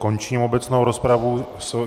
Končím obecnou rozpravu.